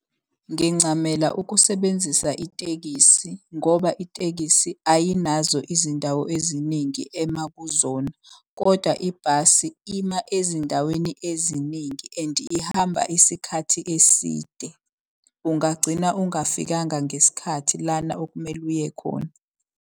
Ngincamela ukusebenzisa itekisi ngoba itekisi ayinazo izindawo eziningi ema kuzona, kodwa ibhasi ima ezindaweni eziningi. And ihamba isikhathi eside, ungagcina ungafikanga ngesikhathi lana okumele uye khona.